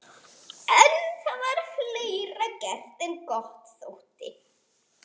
En það var fleira gert en gott þótti.